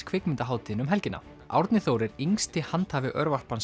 kvikmyndahátíðinni um helgina Árni Þór er yngsti handhafi